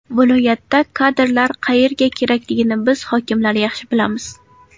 Viloyatda kadrlar qayerga kerakligini biz hokimlar yaxshi bilamiz.